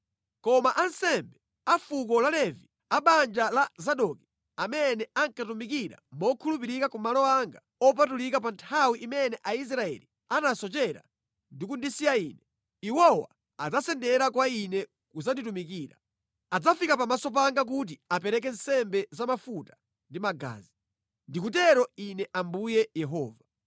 “Koma ansembe, a fuko la Levi, a banja la Zadoki amene ankatumikira mokhulupirika ku malo anga opatulika pa nthawi imene Aisraeli anasochera ndi kundisiya Ine; iwowa adzasendera kwa Ine kudzanditumikira. Adzafika pamaso panga kuti apereke nsembe za mafuta ndi magazi. Ndikutero Ine Ambuye Yehova.